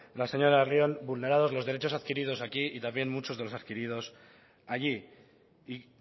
la señora larrion vulnerados los derechos adquiridos aquí y también muchos de los adquiridos allí y